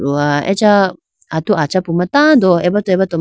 dowa acha atu achapuma tando aboto aboto ma.